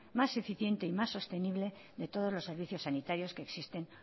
más eficiente y más sostenible de todos los servicios sanitarios que existen